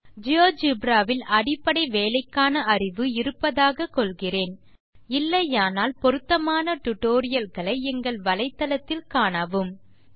Geogebraவில் அடிப்படை வேலைக்கான அறிவு இருப்பதாக கொள்கிறேன் இல்லையானால் பொருத்தமான tutorialகளை எங்கள் வலைத்தளத்தில் காணவும் httpspoken tutorialorg